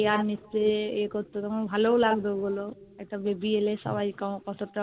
Care নিচ্ছে এ করতো তখন ভালো ও লাগতো বলো একটা Baby এলে সবাই কতটা